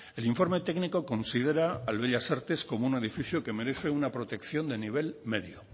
el informe técnico considera al bellas artes como un edificio que merece una protección de nivel medio